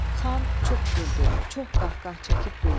Xan çox güldü, çox qahqah çəkib güldü.